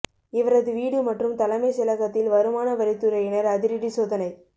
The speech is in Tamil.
இவரது வீடு மற்றும் தலைமை செயலகத்தில் வருமான வரித்துறையினர் அதிரடி சோதனை